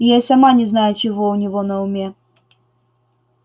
я и сама не знаю чего у него на уме